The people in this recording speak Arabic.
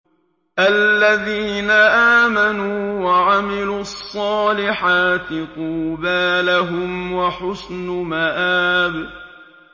الَّذِينَ آمَنُوا وَعَمِلُوا الصَّالِحَاتِ طُوبَىٰ لَهُمْ وَحُسْنُ مَآبٍ